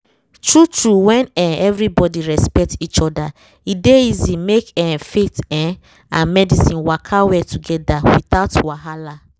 true-true when um everybody respect each other e dey easy make um faith um and medicine waka well together without wahala